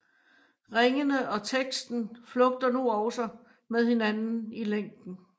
Ringene og teksten flugter nu også med hinanden i længden